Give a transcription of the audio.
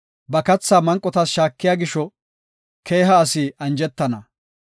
Ba kathaa manqotas shaakiya gisho keeha asi anjetana.